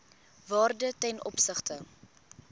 waarde ten opsigte